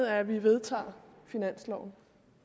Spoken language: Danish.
at vi vedtager finansloven